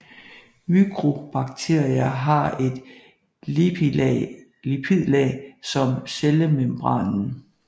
Mykobakterier har et lipidlag om cellemembranen